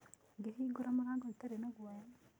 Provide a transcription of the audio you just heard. Ngĩhingũra mũrango itarĩ na guoya.